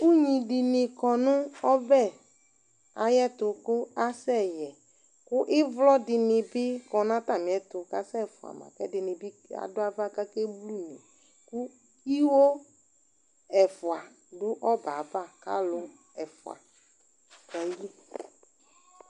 Ugni dini kɔnʋ ɔbɛ ayɛtʋ kʋ asɛ yɛ kʋ ivlɔ dini bi kɔ n'atamiɛtʋ k'asɛ fua ma k'ɛdini bi dʋ ava k'akeblune Iwo ɛfua dʋ ɔbɛ yɛ ava k'alʋ ɛfua dʋ ayili